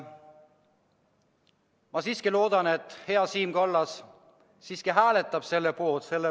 Ma siiski loodan, et hea Siim Kallas hääletab eelnõu poolt.